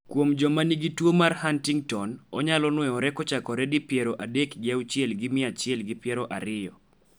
kuom joma nigi tuo mar Huntington onyalo nuoyore kochakore di piero adek gi auchiel gi mia achiel gi piero ariyo